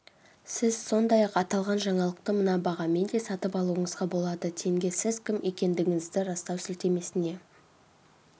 сіз сондай-ақ аталған жаңалықты мына бағамен де сатып алуыңызға болады тенге сіз кім екендігіңізді растау сілтемесіне